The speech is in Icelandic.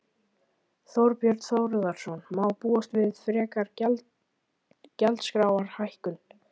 Þorbjörn Þórðarson: Má búast við frekari gjaldskrárhækkun?